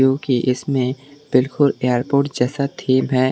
क्योंकि इसमें बिल्कुल एयरपोर्ट जैसा थीम है।